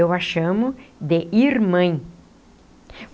Eu a chamo de irmãe.